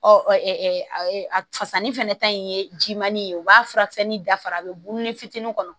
Ɔ fasani fana ta in ye jimani ye u b'a fura kisɛ ni dafara a bɛ bulu ni fitinin kɔnɔ